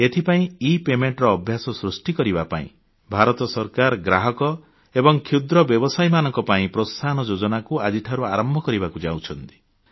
ଏଥିପାଇଁ ଇପାଉଣାEPayment ଅଭ୍ୟାସ ସୃଷ୍ଟି କରିବାକୁ ଭାରତ ସରକାର ଗ୍ରାହକ ଏବଂ କ୍ଷୁଦ୍ର ବ୍ୟବସାୟୀମାନଙ୍କ ପାଇଁ ପ୍ରୋତ୍ସାହନ ଯୋଜନାକୁ ଆଜିଠାରୁ ଆରମ୍ଭ କରିବାକୁ ଯାଉଛନ୍ତି